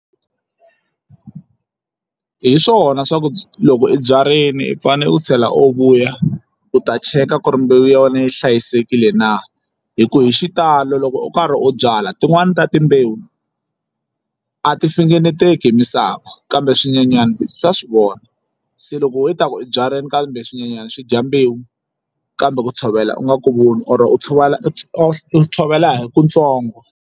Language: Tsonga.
Hi swona swa ku loko i byarini u fane u tlhela u vuya u ta cheka ku ri mbewu ya wena yi hlayisekile na hi ku hi xitalo loko u karhi u byala tin'wani ta timbewu a ti fingeneteki hi misava kambe swinyenyana swa swivona se loko wena i ta ku u byarile kambe swinyenyana swi dya mbewu kambe ku tshovela u nga ku voni or u tshovela u tshovela hi ku ntsongo.